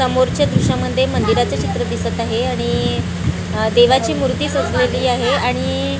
समोरच्या दृश्यामध्ये मंदिराचे चित्र दिसतं आहे आणि देवाची मूर्ती सजलेली आहे आणि--